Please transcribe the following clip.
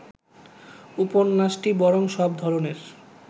উপন্যাসটি বরং সব ধরনের